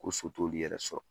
Ko so t'olu yɛrɛ sɔrɔ